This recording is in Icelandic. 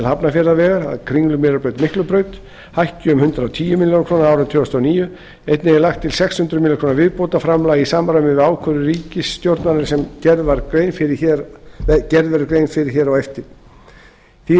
hafnarfjarðarvegar hækki um hundrað og tíu milljónir króna á árinu tvö þúsund og níu einnig er lagt til sex hundruð milljóna króna viðbótarframlag í samræmi við ákvörðun ríkisstjórnar sem gerð er grein fyrir hér á eftir því er samtals gerð